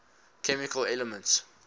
chemical elements